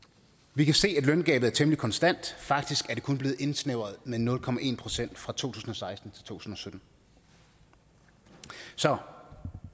vi kan se at løngabet er temmelig konstant faktisk er det kun blevet indsnævret med nul procent fra to tusind og seksten til to tusind og sytten så